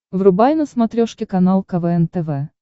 врубай на смотрешке канал квн тв